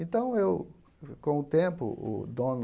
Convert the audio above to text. Então, eu, com o tempo, o dono